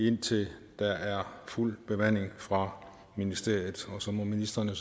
indtil der er fuld bemanding fra ministeriet og så må ministrene